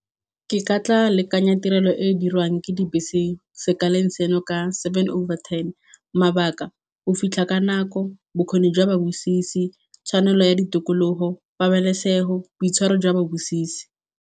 Ke ka tla lekanya tirelo e e dirwang ke dibese sekeleng seno ka seven over ten, mabaka go fitlha ka nako, bokgoni jwa ba bosisi, tshwanelo ya ditokologo, pabalesego, boitshwaro jwa ba bosisi.